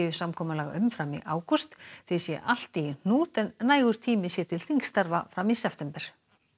samkomulag um fram í ágúst því sé allt í hnút en nægur tími sé til þingstarfa fram í september